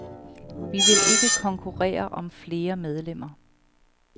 Vi vil ikke konkurrere om flere medlemmer.